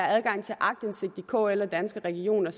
adgang til aktindsigt i kl og danske regioner